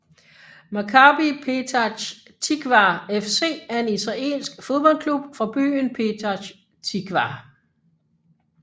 Maccabi Petach Tikvah FC er en israelsk fodboldklub fra byen Petach Tikvah